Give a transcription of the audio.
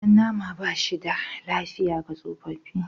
Jan nama ba shi da lafiya ga tsofaffi.